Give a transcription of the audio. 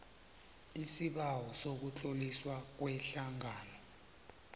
isibawo sokutloliswa kwehlangano